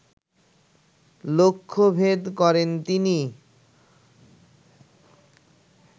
লক্ষ্যভেদ করেন তিনি